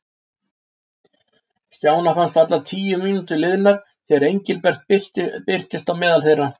Stjána fannst varla tíu mínútur liðnar þegar Engilbert birtist á meðal þeirra.